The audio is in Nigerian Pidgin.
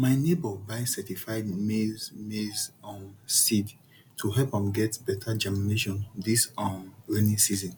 my neighbour buy certified maize maize um seed to help am get better germination this um rainy season